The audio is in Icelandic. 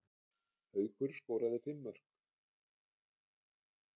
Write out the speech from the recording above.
Haukur skoraði fimm mörk